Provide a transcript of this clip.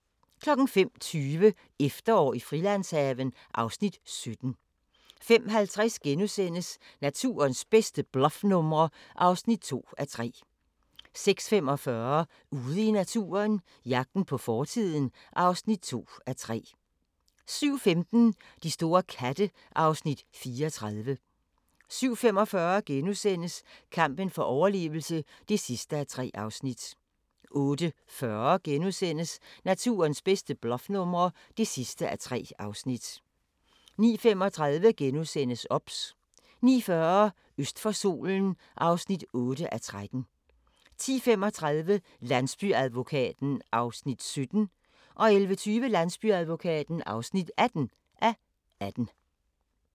05:20: Efterår i Frilandshaven (Afs. 17) 05:50: Naturens bedste bluffnumre (2:3)* 06:45: Ude i naturen – jagten på fortiden (2:3) 07:15: De store katte (Afs. 34) 07:45: Kampen for overlevelse (3:3)* 08:40: Naturens bedste bluffnumre (3:3)* 09:35: OBS * 09:40: Øst for solen (8:13) 10:35: Landsbyadvokaten (17:18) 11:20: Landsbyadvokaten (18:18)